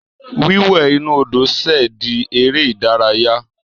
Wíwẹ̀ inú Odò ṣẹ̀ di eré ìdárayá.